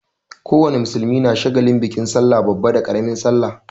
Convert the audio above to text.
Ko wane musulmi na shagalin bikin sallah babba da ƙaramin sallah.